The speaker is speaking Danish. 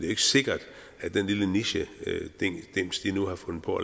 ikke sikkert at den lille nichedims de nu har fundet på